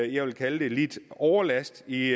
jeg vil kalde det lidt overlast i